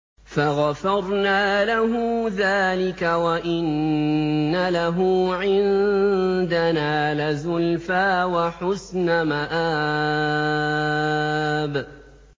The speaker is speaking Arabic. فَغَفَرْنَا لَهُ ذَٰلِكَ ۖ وَإِنَّ لَهُ عِندَنَا لَزُلْفَىٰ وَحُسْنَ مَآبٍ